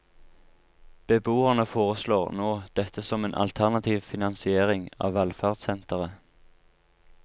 Beboerne foreslår nå dette som en alternativ finansiering av velferdssenteret.